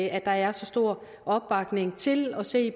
at der er så stor opbakning til at se